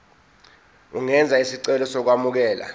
ungenza isicelo sokwamukelwa